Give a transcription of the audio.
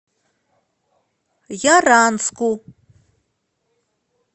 яранску